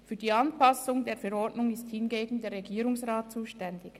Für die Anpassung dieser Verordnung ist hingegen der Regierungsrat zuständig.